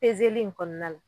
Pezeli in kɔɔna la